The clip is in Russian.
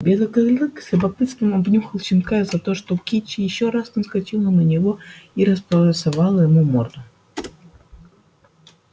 белый клык с любопытством обнюхал щенка за что кичи ещё раз наскочила на него и располосовала ему морду